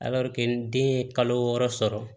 den ye kalo wɔɔrɔ sɔrɔ